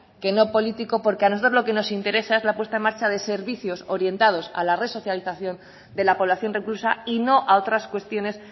que no político porque a nosotros lo que nos interesa es la puesta en marcha de servicios orientados a la resocialización de la población reclusa y no a otras cuestiones